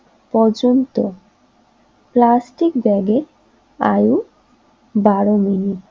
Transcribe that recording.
পর্যন্ত প্লাস্টিক ব্যাগের আয় বারো মিনিট